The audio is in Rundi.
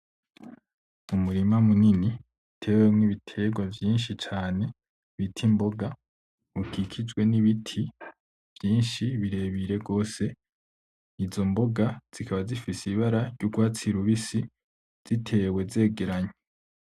Umurima munini uteyemwo ibitegwa vyinshi cane bita imboga bikikijwe n'ibiti vyinshi birebire gose. izo mboga z'ikaba z'ifise ibara ry'urwatsi rubisi, z'itewe zegeranye.